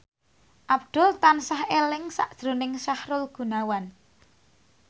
Abdul tansah eling sakjroning Sahrul Gunawan